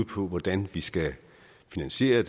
på hvordan vi skal finansiere